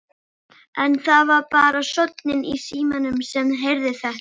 En það var bara sónninn í símanum sem heyrði það.